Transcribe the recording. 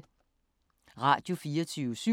Radio24syv